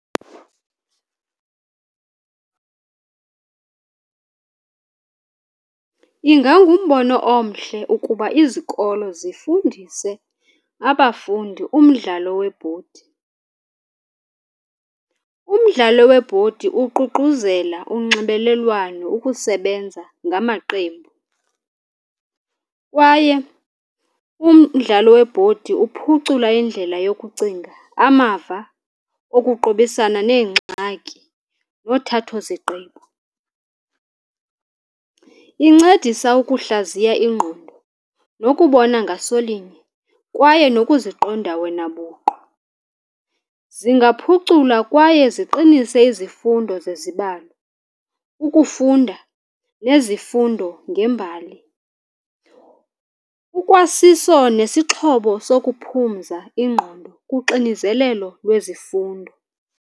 Ingangumbono omhle ukuba izikolo zifundise abafundi umdlalo webhodi. Umdlalo webhodi uququzela unxibelelwano, ukusebenza ngamaqembu, kwaye umdlalo webhodi uphucula indlela yokucinga, amava okuqobisana neengxaki, nothathoziqgqibo. Incedisa ukuhlaziyo ingqondo nokubona ngasolinye, kwaye nokuziqonda wena buqu. Zingaphucula kwaye ziqinise izifundo zezibalo, ukufunda nezifundo ngembali. Ukwasiso nesixhobo sokuphumza ingqondo kuxinizelelo lwezifundo.